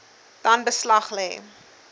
dan beslag lê